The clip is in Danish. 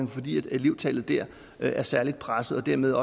fordi elevtallet der er særligt presset og dermed